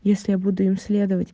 если я буду им следовать